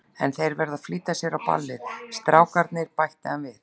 En þeir eru að flýta sér á ballið, strákarnir, bætti hann við.